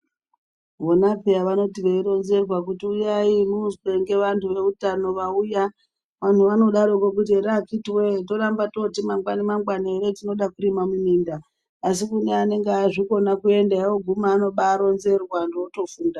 Vona peya vanoti veironzerwa kuti uyai muzwe ngevantu veuytano vauya. Vantu vanodaroko kuti ere akhiti voye toramba toti mangwani mangwani ere tinoda kurima muminda. Asi kune anenge azvikona kuenda oguma anobaronzerwa antu otofunda.